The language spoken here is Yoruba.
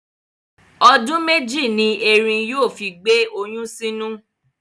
Ọdún mẹ́jì ni erin yóò fi gbé oyún sínú.